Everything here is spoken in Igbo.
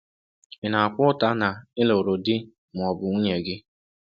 Ị na-akwa ụta na ị lụrụ di ma ọ bụ nwunye gị?